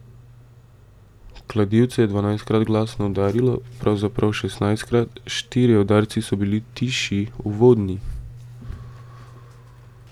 Kladivce je dvanajstkrat glasno udarilo, pravzaprav šestnajstkrat, štirje udarci so bili tišji, uvodni.